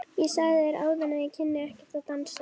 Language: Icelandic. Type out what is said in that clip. Ég sagði þér áðan að ég kynni ekkert að dansa.